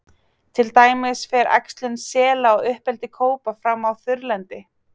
Til dæmis fer æxlun sela og uppeldi kópa fram á þurrlendi.